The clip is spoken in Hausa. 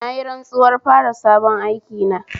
Nayi rantsuwar fara sabon aikina